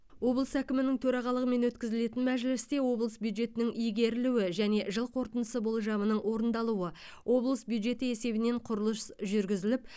облыс әкімінің төрағалығымен өткізілетін мәжілісте облыс бюджетінің игерілуі және жыл қорытындысы болжамының орындалуы облыс бюджеті есебінен құрылыс жүргізіліп